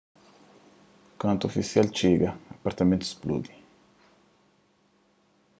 kantu ofisial txiga apartamentu spludi